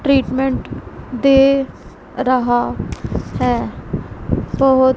treatment दे रहा हैं बहोत--